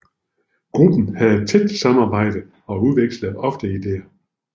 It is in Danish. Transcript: Gruppen havde et tæt samarbejde og udvekslede ofte idéer